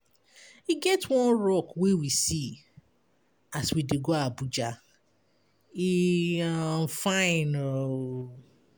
E get one rock wey we see as we dey go Abuja, e um fine um o.